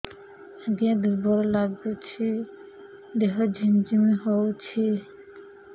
ଆଜ୍ଞା ଦୁର୍ବଳ ଲାଗୁଚି ଦେହ ଝିମଝିମ ହଉଛି